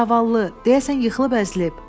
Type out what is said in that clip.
Zavallı, deyəsən yıxılıb əzilib.